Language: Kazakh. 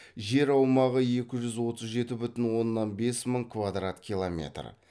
жер аумағы екі жүз отыз жеті бүтін оннан бес мың квадрат километр